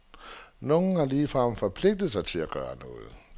Nogle har ligefrem forpligtet sig til at gøre noget.